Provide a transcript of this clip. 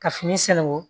Ka fini sɛnɛn ko